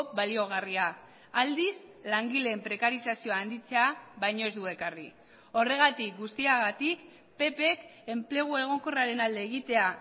baliogarria aldiz langileen prekarizazioa handitzea baino ez du ekarri horregatik guztiagatik ppk enplegu egonkorraren alde egitea